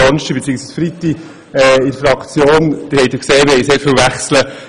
Wie Sie wissen, gab es bei uns sehr viele Wechsel.